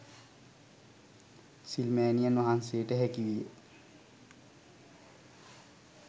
සිල්මෑණියන් වහන්සේට හැකිවිය.